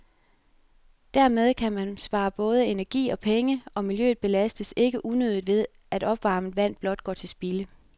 Dermed kan man spare både energi og penge, og miljøet belastes ikke unødigt ved, at opvarmet vand blot går til spilde.